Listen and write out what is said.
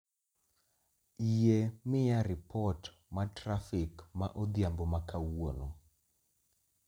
Yie miya ripot ma trafik ma odhiambo ma kawuono